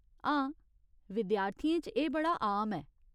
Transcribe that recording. हां, विद्यार्थियें च एह् बड़ा आम ऐ।